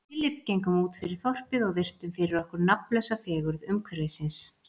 Við Philip gengum útfyrir þorpið og virtum fyrir okkur nafnlausa fegurð umhverfisins.